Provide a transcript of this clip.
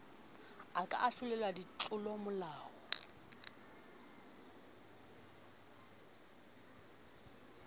a ka a ahlolelwa ditlolomolao